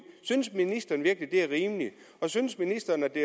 synes ministeren virkelig at det er rimeligt synes ministeren at det